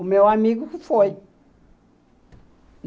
O meu amigo que foi.